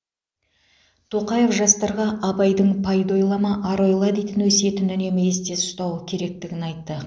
тоқаев жастарға абайдың пайда ойлама ар ойла дейтін өсиетін үнемі есте ұстау керектігін айтты